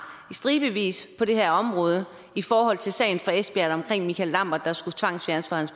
i stribevis på det her område i forhold til sagen fra esbjerg omkring michael lambert der skulle tvangsfjernes fra